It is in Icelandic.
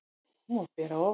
Hún var ber að ofan.